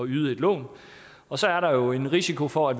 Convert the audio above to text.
yde et lån og så er der jo en risiko for at